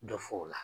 Dɔ fɔ o la